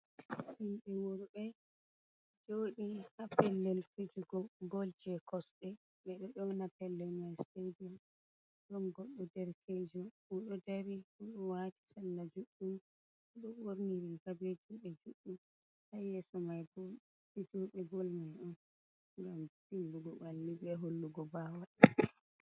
Himɓe worɓe joɗi ha pellel fijugo ball je kosde ɓeɗo yoona pellel mai stadiom. Ɗon goɗɗo derkejo oɗo dari, oɗo waati salla juɗɗum, oɗo ɓorni riga be juɗe juɗɗum. Ha yeso mai bo fijuɓe boll mai on ngam dimbugo ɓalli be hollugo bawal.